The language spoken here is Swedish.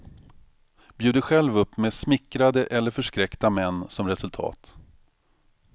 Bjuder själv upp med smickrade eller förskräckta män som resultat.